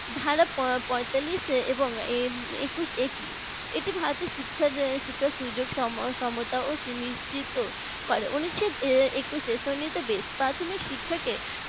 ভারত পঁয়তালিশ এবং একুশ এ তে এটি ভারতের শিক্ষার শিক্ষা সমতা ও সুনিশ্চিত করে উনিশ শ একুশএ সুন্নিবেশিত প্রাথমিক শিক্ষাকে